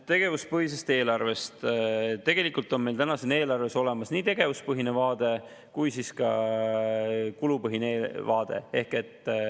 Tegevuspõhisest eelarvest – tegelikult on meil eelarves olemas nii tegevuspõhine vaade kui ka kulupõhine vaade.